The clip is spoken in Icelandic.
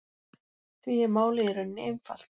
Því er málið í rauninni einfalt